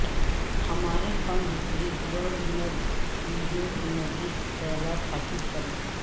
ہمارے فنڈ ریزورڈنگ ویڈیو کے مزید خیالات حاصل کریں